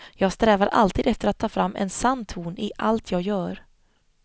Jag strävar alltid efter att ta fram en sann ton i allt jag gör.